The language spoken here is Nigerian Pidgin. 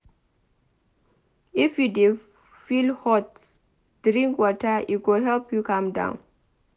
If you dey feel hot drink water e go help you calm down.